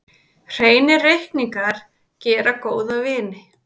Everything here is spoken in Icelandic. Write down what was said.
Hreinir reikningar gera góða vini.